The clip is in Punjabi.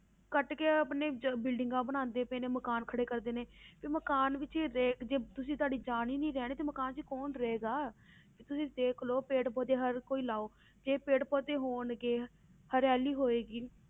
ਕੱਟ ਕੇ ਆਪਣੇ ਅਹ buildings ਬਣਾਉਂਦੇ ਪਏ ਨੇ ਮਕਾਨ ਖੜੇ ਕਰਦੇ ਪਏ ਤੇ ਮਕਾਨ ਵਿੱਚ ਦੇਖ ਜੇ ਤੁਸੀਂ ਤੁਹਾਡੀ ਜਾਨ ਹੀ ਨੀ ਰਹਿਣੀ ਤੇ ਮਕਾਨ 'ਚ ਕੌਣ ਰਹੇਗਾ ਤੇ ਤੁਸੀਂ ਦੇਖ ਲਓ ਪੇੜ ਪੌਦੇ ਹਰ ਕੋਈ ਲਾਓ, ਜੇ ਪੇੜ ਪੌਦੇ ਹੋਣਗੇ ਹਰਿਆਲੀ ਹੋਏਗੀ